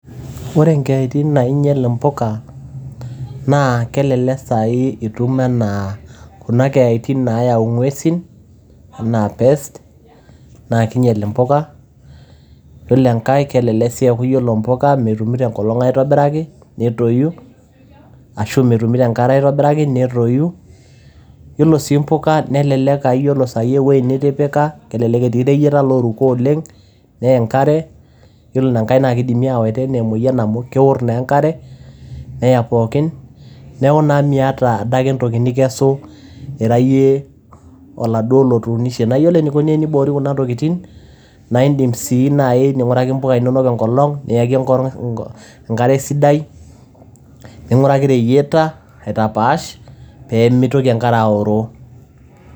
ore nkeeyaitin nainyial impuka naa kelelek sai itum anaa kuna keyaitin nayau ngwesin anaa pest naa kinyial impuka. yiolo enkae kelelek si a ore impuka metumito enkolong aitobiraki tetoyu ashu metumito enkare aitobiraki netoyu. yiolo sii mpuka nelelek aa ore ewuei sai nitipika kelelek etii ireyieta oruko oleng, ney enkare yiolo ina nkae naa kidimi awaita anaa emoyian amu kewor naa enkare neya pookin niaku naa miata adake entoki nikesu ira yie oladuoo otuunishe. naa iyiolo enikoni teniboori kuna tokitin naa indim si nai ninguraki impuka inonok enkolong niyaki enkoro enkare sidai ninguraki reyieta aitapaash pemitoki enkare aoroo.